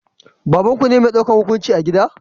Babanku ne mai daukan hukunci a gida?